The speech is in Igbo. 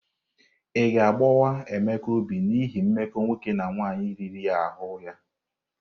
Ị ga-agbawa Emeka obi n'ihi mmekọ nwoke na nwaanyị riri ahụ ya?